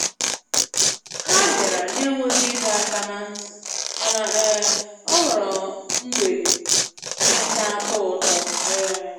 Ha bịara na-enweghị ịdọ aka na ntị, mana um ọ ghọrọ mgbede na-atọ ụtọ. um